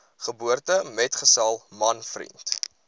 geboortemetgesel man vriend